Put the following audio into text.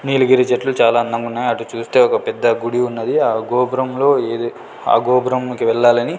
నీలగిరి చెట్లు చాలా అందంగున్నాయి అటు చూస్తే ఒక పెద్ద గుడి ఉన్నది ఆ గోపురంలో ఏది ఆ గోపురంకి వెళ్ళాలని.